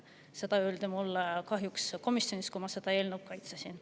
Seda öeldi mulle komisjonis, kui ma seda eelnõu kaitsesin.